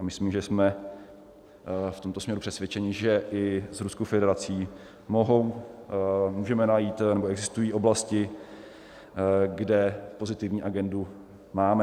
A myslím, že jsme v tomto směru přesvědčeni, že i s Ruskou federací můžeme najít, nebo existují oblasti, kde pozitivní agendu máme.